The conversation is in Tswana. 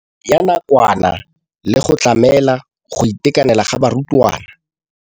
Ya nakwana le go tlamela go itekanela ga barutwana.